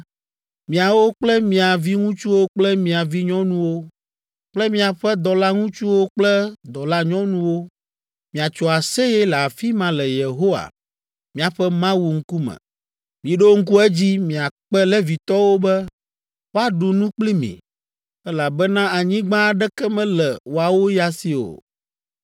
Miawo kple mia viŋutsuwo kple mia vinyɔnuwo kple miaƒe dɔlaŋutsuwo kple dɔlanyɔnuwo miatso aseye le afi ma le Yehowa, miaƒe Mawu ŋkume. Miɖo ŋku edzi miakpe Levitɔwo be woaɖu nu kpli mi, elabena anyigba aɖeke mele woawo ya si o.